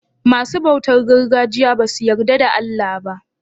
Masu bautar gargajiya basu yarda da Allah ba?